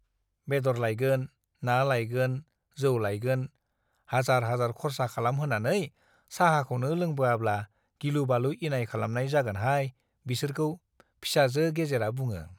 बेद'र लायगोन , ना लायगोन , जौ लायगोन- हाजार हाजार खरसा खालाम होनानै चाहाखौनो लोंबोआब्ला गिलु-बालु इनाय खालामनाय जागोनहाय बिसोरखौ फिसाजो गेजेरा बुङो ।